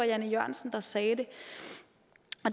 jan e jørgensen der sagde